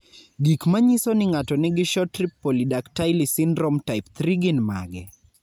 Gik manyiso ni ng'ato nigi Short rib polydactyly syndrome type 3 gin mage?